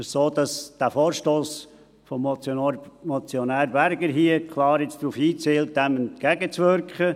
Es ist so, dass der Vorstoss des Motionärs Berger hier jetzt klar darauf hinzielt, dem entgegenzuwirken.